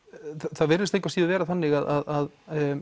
það virðist engu að síður vera þannig að